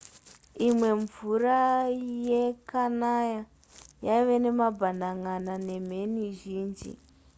imwe mvura yekanaya yaive nemabhanan'ana nemheni zhinji